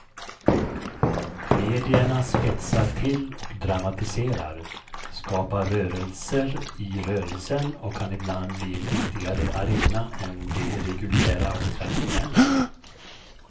Medierna spetsar till och dramatiserar, skapar rörelser i rörelsen och kan ibland bli en viktigare arena än de reguljära och traditionella.